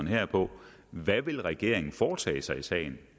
her på hvad vil regeringen foretage sig i sagen